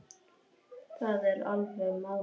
Það er alveg málið